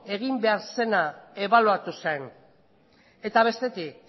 egin behar zena ebaluatu zen eta bestetik